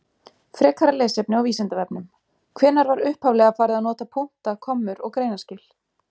Frekara lesefni á Vísindavefnum: Hvenær var upphaflega farið að nota punkta, kommur og greinaskil?